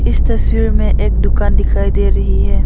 इस तस्वीर में एक दुकान दिखाई दे रही है।